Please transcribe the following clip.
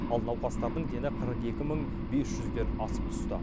ал науқастардың дені қырық екі мың бес жүзден асып түсті